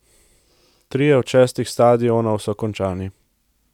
Trije od šestih stadionov so končani.